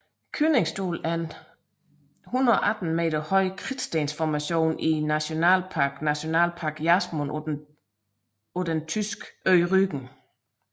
Königsstuhl er en 118 meter høj kridtstensformation i nationalparken Nationalpark Jasmund på den Tyskland ø Rügen